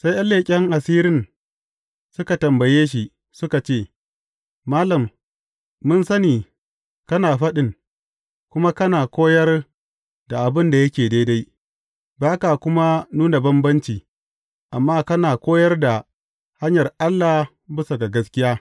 Sai ’yan leƙen asirin suka tambaye shi, suka ce, Malam, mun sani kana faɗin, kuma kana koyar da abin da yake daidai, ba ka kuma nuna bambanci, amma kana koyar da hanyar Allah bisa ga gaskiya.